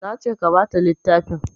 Nace ka bata littafin